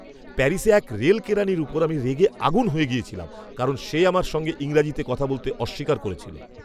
প্যারিসে এক রেল কেরানির উপর আমি রেগে আগুন হয়ে গেছিলাম কারণ সে আমার সঙ্গে ইংরেজিতে কথা বলতে অস্বীকার করেছিল।